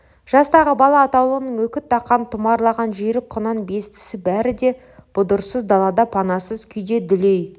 жастағы бала атаулының үкі таққан тұмарлаған жүйрік құнан-бестісі бәрі де бұдырсыз далада панасыз күйде дүлей